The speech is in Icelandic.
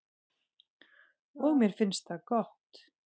Og mér finnst það gott.